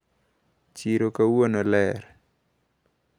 Chiro kawuono ler.